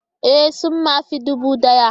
Ee! sun ma fi dubu daya.